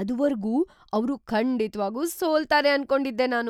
ಅದುವರ್ಗೂ ಅವ್ರು ಖಂಡಿತ್ವಾಗೂ ಸೋಲ್ತಾರೆ ಅನ್ಕೊಂಡಿದ್ದೆ ನಾನು.